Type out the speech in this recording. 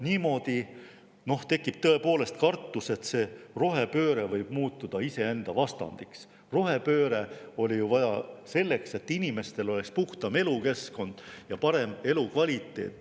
Niimoodi tekib tõepoolest kartus, et rohepööre võib muutuda iseenda vastandiks: rohepööret oli ju vaja selleks, et inimestel oleks puhtam elukeskkond ja parem elukvaliteet.